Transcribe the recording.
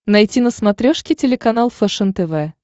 найти на смотрешке телеканал фэшен тв